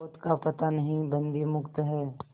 पोत का पता नहीं बंदी मुक्त हैं